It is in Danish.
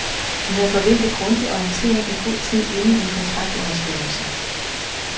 Vi havde forventet grundig orientering i god tid inden en kontraktunderskrivelse.